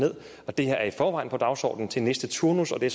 og det her er i forvejen på dagsordenen til næste turnus og det